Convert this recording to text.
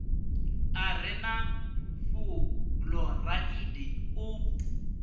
a re na fuloraidi u